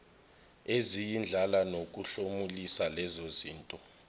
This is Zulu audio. eziyindlala nokuhlomulisa lezozinto